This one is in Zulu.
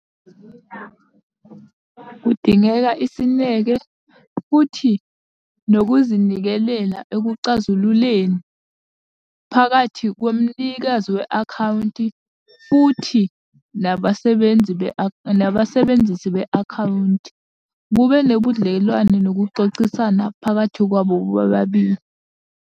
Kudingeka isineke, futhi nokuzinikelela ekucazululeni phakathi komnikazi we-akhawunti, futhi nabasebenzi nabasebenzisi be-akhawunti. Kube nobudlelwane nokuxoxisana phakathi kwabo bobabili.